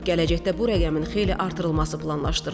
Gələcəkdə bu rəqəmin xeyli artırılması planlaşdırılır.